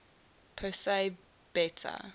persei beta